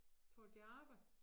Tror du de arbejder